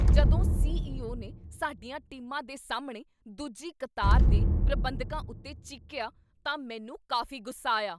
ਜਦੋਂ ਸੀ.ਈ.ਓ. ਨੇ ਸਾਡੀਆਂ ਟੀਮਾਂ ਦੇ ਸਾਹਮਣੇ ਦੂਜੀ ਕਤਾਰ ਦੇ ਪ੍ਰਬੰਧਕਾਂ ਉੱਤੇ ਚੀਕੀਆ ਤਾਂ ਮੈਨੂੰ ਕਾਫ਼ੀ ਗੁੱਸਾ ਆਇਆ।